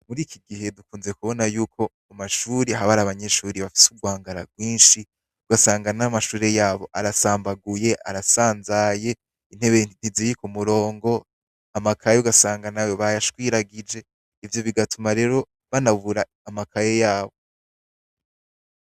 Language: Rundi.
Mur'ikigihe tukunze kubona yuko mu mashure har'abanyeshure bafise 'urwangara rwinshi, ugasanga n'amashure yabo arasambaguye ,arasanzaye, intebe ntiziri k'umurongo, amakaye ugasanga nayo bayashwiragije, ivyo bigatuma rero banabura amakaye yabo.